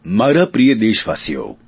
મારા પ્રિય દેશવાસીઓ